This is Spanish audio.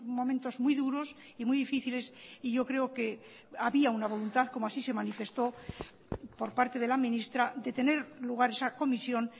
momentos muy duros y muy difíciles y yo creo que había una voluntad como así se manifestó por parte de la ministra de tener lugar esa comisión